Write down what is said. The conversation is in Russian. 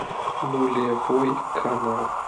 нулевой канал